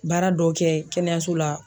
Baara dɔw kɛ kɛnɛyaso la.